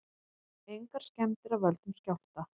Engar skemmdir af völdum skjálfta